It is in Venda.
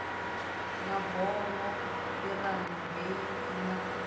mabono irama heyi i na